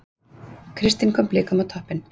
Kristinn kom Blikum á toppinn